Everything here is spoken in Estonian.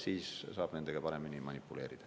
Siis saab nendega paremini manipuleerida.